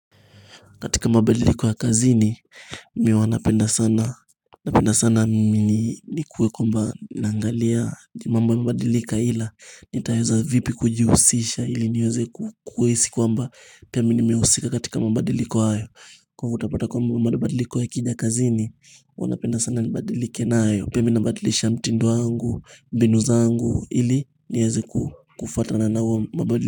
Katika mabadiliko ya kazini, mi huwa napenda sana Napenda sana ni kuwe kwamba naangalia mambo mabadilika ila, nitaeza vipi kujiusisha ili niweze kuwezi kwa mba Pia mimi nimeusika katika mabadiliko hayo Kwa hivo utapata kwamba mabadiliko yakija kazini, hua napenda sana nibadilike nayo Pia mimi nabadilisha mtindo wangu, mbinu zangu, ili nieze ku kufata nao mabadiliko.